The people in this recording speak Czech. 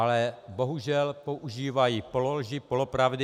Ale bohužel používají pololži, polopravdy.